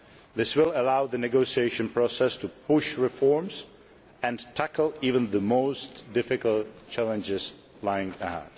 This will allow the negotiation process to push reforms and tackle even the most difficult challenges which lie ahead.